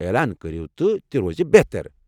اعلان کٔرِو تہٕ تہِ روزِ بہتر۔